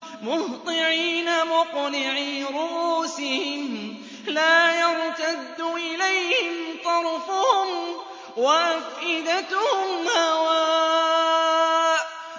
مُهْطِعِينَ مُقْنِعِي رُءُوسِهِمْ لَا يَرْتَدُّ إِلَيْهِمْ طَرْفُهُمْ ۖ وَأَفْئِدَتُهُمْ هَوَاءٌ